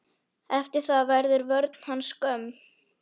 Eftir það verður vörn hans skömm.